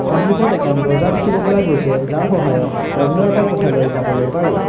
সন্মুখত এখন দৰ্জা দেখিব পৰা গৈছে যাৰ সহায়ত অন্য এটা কোঠালৈ যাবলৈ পাৰি।